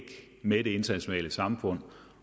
med det internationale samfund